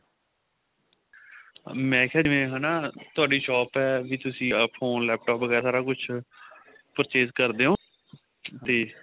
ਮੇਂ ਕਿਹਾ ਜਿਵੇਂ ਹਨਾ ਤੁਹਾਡੀ shop ਏ ਵੀ ਤੁਸੀਂ phone laptop ਵਗੈਰਾ ਸਾਰਾ ਕੁੱਝ purchase ਕਰਦੇ ਓ ਤੇ